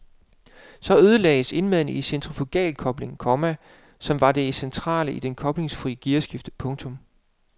Så ødelagdes indmaden i den centrifugalkobling, komma som var det centrale i det koblingsfrie gearskifte. punktum